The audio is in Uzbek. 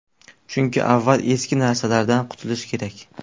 Chunki, avval eski narsalardan qutilish kerak.